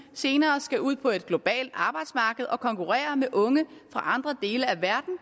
senere skal ud på et globalt arbejdsmarked og konkurrere med unge fra andre dele af verden